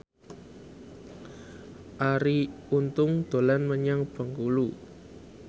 Arie Untung dolan menyang Bengkulu